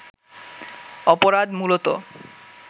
অপরাধ মূলতঃ